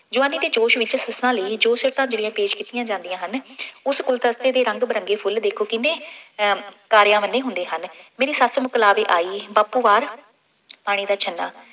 ਜਵਾਨੀ ਦੇ ਜ਼ੋਸ਼ ਵਿੱਚ ਸੱਸਾਂ ਲਈ ਜੋ ਸ਼ਿਫਤਾਂ ਜਿਹੜੀਆਂ ਪੇਸ਼ ਕੀਤੀਆਂ ਜਾਂਦੀਆਂ ਹਨ। ਉਸ ਗੁਲਦਸਤੇ ਦੇ ਰੰਗ ਬਿਰੰਗੇ ਫੁੱਲ ਦੇਖੋਗੇ ਕਿੰਨੇ ਹੈ, ਤਾਰਿਆਂ ਵੰਨੇ ਹੁੰਦੇ ਹਨ। ਮੇਰੀ ਸੱਸ ਮੁਕਲਾਵੇ ਆਈ, ਬਾਪੂ ਬਾਹਰ ਪਾਣੀ ਦਾ ਛੰਨਾ